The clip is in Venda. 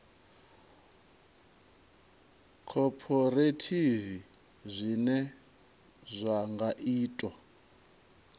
khophorethivi zwine zwa nga ita